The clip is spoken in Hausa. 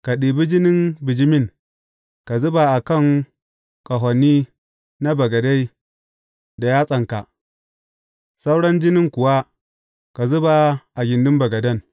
Ka ɗibi jinin bijimin ka zuba a kan ƙahoni na bagade da yatsanka, sauran jinin kuwa ka zuba a gindin bagaden.